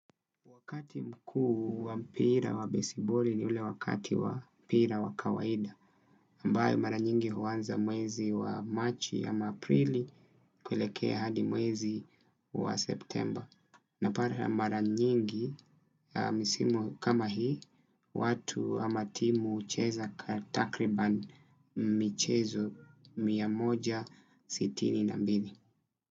Wakati mkuu wa mpira wa besiboli ni ule wakati wa mpira wa kawaida ambayo mara nyingi huanza mwezi wa Machi ya ama aprili kulekea hadi mwezi wa September. Napata ya mara nyingi, misimu kama hii, watu ama timu hucheza kwa takriban michezo mia moja sitini na mbili.